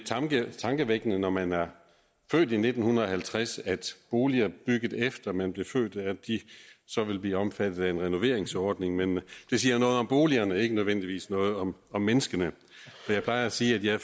tankevækkende når man er født i nitten halvtreds at boliger der bygget efter man blev født så vil blive omfattet af en renoveringsordning men det siger noget om boligerne ikke nødvendigvis noget om om menneskene og jeg plejer at sige at jeg